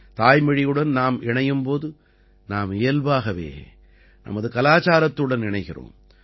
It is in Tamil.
தாய்மொழியுடன் நாம் இணையும் போது நாம் இயல்பாகவே நமது கலாச்சாரத்துடன் இணைகிறோம்